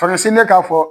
Faransi de k'a fɔ